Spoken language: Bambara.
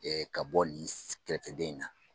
ka bɔ nin kɛrɛfɛdɛn in na.